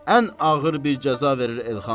Ən ağır bir cəza verir Elxan.